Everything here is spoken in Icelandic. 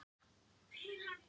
Arnaldur